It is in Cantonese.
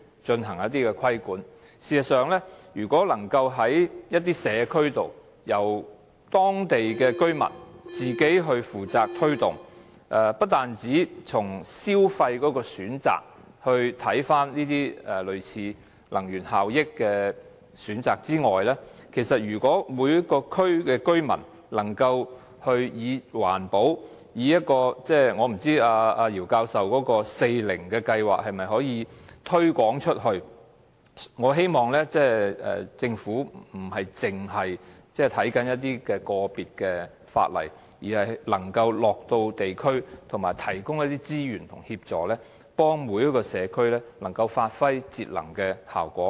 這些計劃不單需要藉法例進行規管，而若能由社區、當地居民自行負責推動，除了從消費角度看能源效益的選擇之外，如果每個區的居民能以環保......我不知道姚教授的"四零"計劃可否推廣至更多社區，但我希望政府不單只就個別的法例着眼，而能夠落區了解情況，並提供資源及協助，幫助每個社區發揮節能的效果。